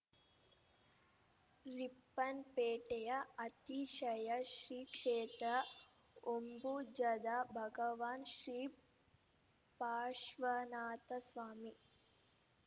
ರಿಪ್ಪನ್‌ಪೇಟೆಯ ಅತಿಶಯ ಶ್ರೀ ಕ್ಷೇತ್ರ ಹೊಂಬುಜದ ಭಗವಾನ್‌ ಶ್ರೀ ಪಾಶ್ವ ನಾಥ ಸ್ವಾಮಿ